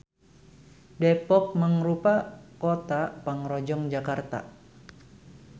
Depok mangrupa kota pangrojong Jakarta.